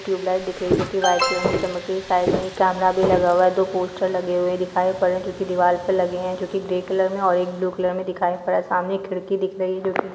tubelight दिख रही है जो कि वाइट कलर में चमक रही है साइड में एक कैमरा भी लगा हुआ है दो पोस्टर लगे हुए है दिखाई पड़ रहे है जो कि दीवाल पे लगे है जो कि ग्रे कलर और ब्लू कलर में दिखाई पड़ रहे है सामने एक खिड़की दिख रही है जो कि --